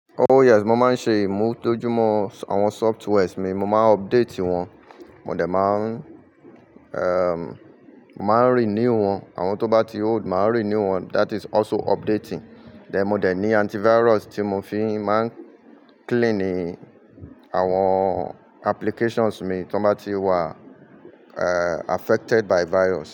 Oh yes, mo máa ń ṣe Mo tọ́jú mọ́ àwọn softwares mi, mo máa ń update wọn. Mo dẹ̀ máa ń, erm, mo máa ń renew wọn. Àwọn tó bá ti old, màá renew wọn. That is also updating. Dẹ̀ mọ dẹ̀ ní antivirus tí mo fi máa ń cleaning àwọn applications mi tó n bá ti wà, eh, affected by virus.